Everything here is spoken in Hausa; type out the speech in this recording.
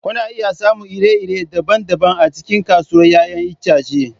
Kuna iya samun iri-iri daban-daban a cikin kasuwar 'ya'yan itace.